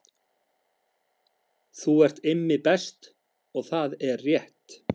Þú ert Immi Best og það er rétt